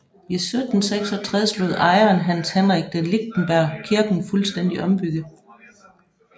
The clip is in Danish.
I 1766 lod ejeren Hans Henrik de Lichtenberg kirken fuldstændigt ombygge